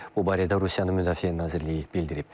Bu barədə Rusiyanın Müdafiə Nazirliyi bildirib.